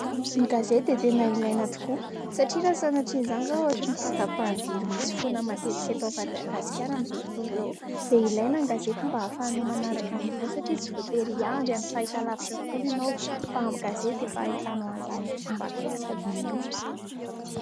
Ny gazety dia tena ilaina tokoa satria raha sanatria an'izany izao ohatry ny fahatapahan-jiro misy foana matetika eto Madagasikara amin'izao fotoana izao dia ilaina ny gazety mba afahanao manaraka vaovao satria tsy voatery hiandry amin'ny fahita lavitra foana ianao fa amin'ny gazety dia efa ahitanao an'izany amin'ny fomba akaiky sady mora.